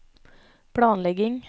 planlegging